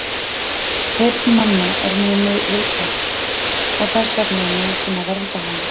Heyrn manna er mjög viðkvæm og þess vegna er nauðsyn að vernda hana.